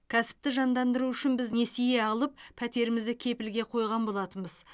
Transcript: кәсіпті жандандыру үшін біз несие алып пәтерімізді кепілге қойған болатынбыз